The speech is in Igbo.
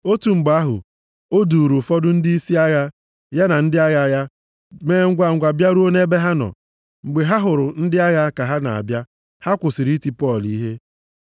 Otu mgbe ahụ o duuru ụfọdụ ndịisi agha ya na ndị agha ya mee ngwangwa bịaruo nʼebe ha nọ. Mgbe ha hụrụ ndị agha ka ha na-abịa, ha kwụsịrị iti Pọl ihe.